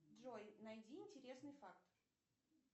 джой найди интересный факт